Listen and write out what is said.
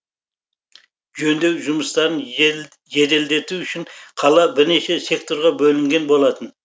жөндеу жұмыстарын жеделдету үшін қала бірнеше секторға бөлінген болатын